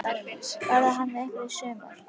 Verður hann með ykkur í sumar?